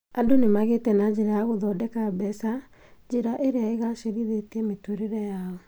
Andũ nĩmagĩte na njĩra ya gũthondeka mbeca, njĩra ĩrĩa igacĩrithĩtie mĩtũrĩre yao